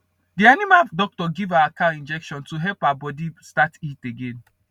the animal doctor give our cow injection to help her body start heat again